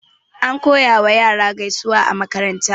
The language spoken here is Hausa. Ana koyar ma yara gaisuwa a makaranta.